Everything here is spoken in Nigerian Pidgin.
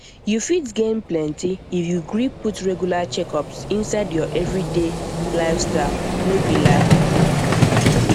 you fit gain plenty if you gree put regular checkups inside your everyday lifestyle no be lie